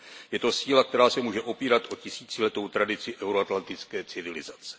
Je to síla, která se může opírat o tisíciletou tradici euroatlantické civilizace.